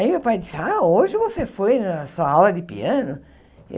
Aí meu pai disse, ah, hoje você foi na sua aula de piano?